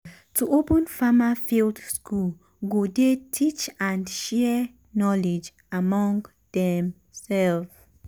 to open farmer field school go dey teach and share knowledge among dem self.